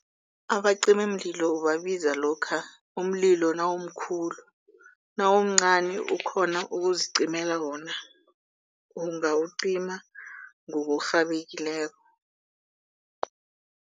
Abacimimlilo ubabiza lokha umlilo nawumkhulu, nawumncani ukhona ukuzicimela wona ungawucima ngokurhabekileko.